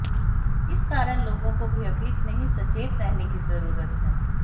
इस कारण लोगों को भयभीत नहीं सचेत रहने की जरूरत है